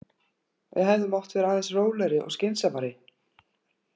Við hefðum mátt vera aðeins rólegri og skynsamari.